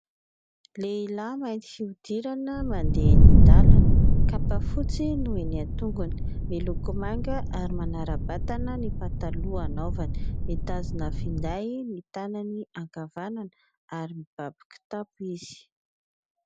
Lehilahy mainty fihodirana mandeha eny an-dalana, kapa fotsy no eny an-tongony. Miloko manga ary manara-batana ny pataloha anaovany. Mitazona finday ny tanany ankavanana ary mibaby kitapo izy.